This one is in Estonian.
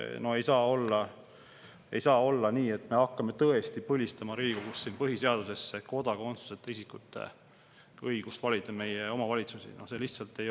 No ei saa tõesti olla nii, et Riigikogu hakkab põhiseaduses põlistama kodakondsuseta isikute õigust valida meie omavalitsuste.